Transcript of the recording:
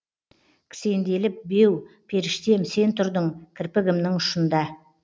кісенделіп беу періштем сен тұрдың кірпігімнің ұшында